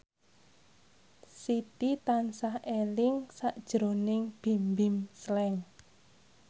Siti tansah eling sakjroning Bimbim Slank